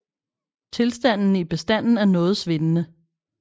Tilstanden i bestanden er noget svingende